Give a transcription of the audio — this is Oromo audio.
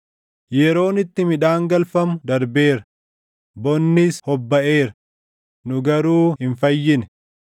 “Yeroon itti midhaan galfamu darbeera; bonnis hobbaʼeera; nu garuu hin fayyine.”